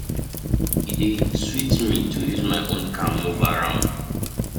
E dey sweet me to use my own car move around.